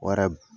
O yɛrɛ